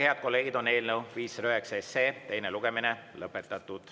Head kolleegid, eelnõu 509 teine lugemine on lõpetatud.